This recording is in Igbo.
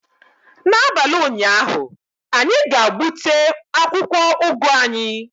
N'abalị ụnyaahụ, anyị ga-gbute akwụkwọ ugu anyị